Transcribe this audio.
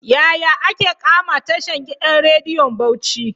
Yaya ake kama tashan gidan rediyon Bauci?